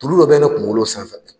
Tulu dɔ bɛ ne kunkolo san fɛ